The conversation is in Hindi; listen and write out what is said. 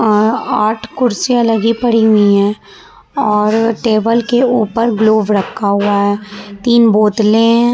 और आठ कुर्सियां लगी पड़ी हुई है और टेबल के ऊपर ग्लोब रखा हुआ है तीन बोतले --